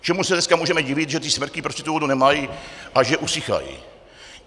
Čemu se dneska můžeme divit, že ty smrky prostě tu vodu nemají a že usychají.